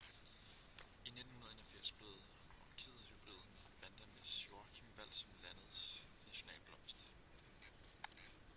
i 1981 blev orkidehybriden vanda miss joaquim valgt som landets nationalblomst